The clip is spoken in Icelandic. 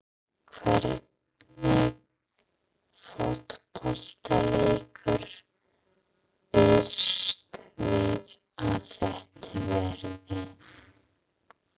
Hvernig fótboltaleikur býstu við að þetta verði?